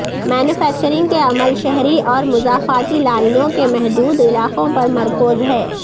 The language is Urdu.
مینوفیکچرنگ کے عمل شہری اور مضافاتی لائنوں کے محدود علاقوں پر مرکوز ہے